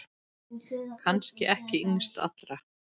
Kannski ekki yngst allra.